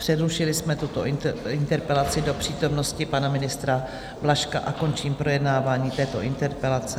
Přerušili jsme tuto interpelaci do přítomnosti pana ministra Blažka a končím projednávání této interpelace.